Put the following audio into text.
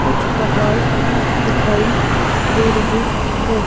कुछ पहाड़ दिखाई दे रहे हैं।